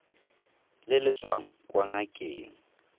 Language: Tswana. le le tswang kwa ngakeng